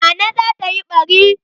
Nana zata yi ɓari.